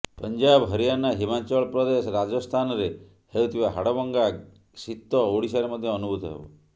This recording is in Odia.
ପଞ୍ଜାବ ହରିୟାନା ହିମାଚଳ ପ୍ରଦେଶ ରାଜସ୍ଥାନରେ ହେଉଥିବା ହାଡ଼ଭଙ୍ଗା ଶୀତ ଓଡ଼ିଶାରେ ମଧ୍ୟ ଅନୁଭୂତ ହେବ